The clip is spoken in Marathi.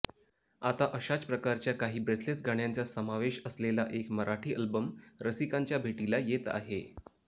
आता अशाच प्रकारच्या काही ब्रेथलेस गाण्यांचा समावेश असलेला एक मराठी अल्बम रसिकांच्या भेटीला येत आहे